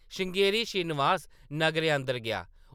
श्रृंगेरी श्रीनिवास नग्गरै अंदर गेआ ।